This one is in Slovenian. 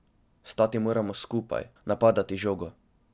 Stati moramo skupaj, napadati žogo.